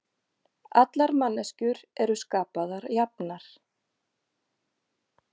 Allar manneskjur eru skapaðar jafnar